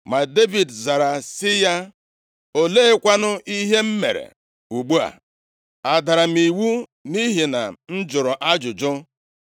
Ma Devid zara sị ya, “Oleekwanụ ihe m mere ugbu a? Adara m iwu nʼihi na m jụrụ ajụjụ?”